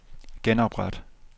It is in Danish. genopret